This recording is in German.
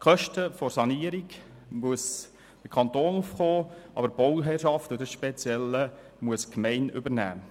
Für die Kosten der Sanierung muss der Kanton aufkommen, aber die Bauherrschaft – das ist das Spezielle – muss die Gemeinde übernehmen.